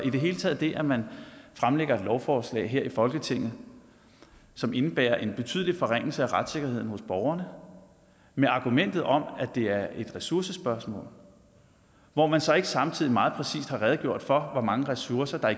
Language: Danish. i det hele taget det at man fremlægger et lovforslag her i folketinget som indebærer en betydelig forringelse af retssikkerheden hos borgerne med argumentet om at det er et ressourcespørgsmål hvor man så ikke samtidig meget præcist har redegjort for hvor mange ressourcer der